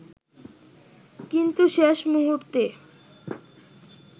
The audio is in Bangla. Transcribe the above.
কিন্তু শেষ মূহুর্তে